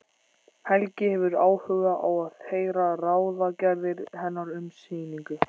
Helgi hefur áhuga á að heyra ráðagerðir hennar um sýningu.